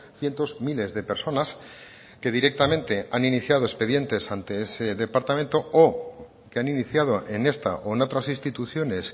cientos miles de personas que directamente han iniciado expedientes ante ese departamento o que han iniciado en esta o en otras instituciones